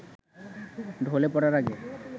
ঢলে পড়ার আগে